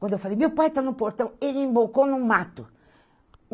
Quando eu falei, meu pai está no portão, ele no mato.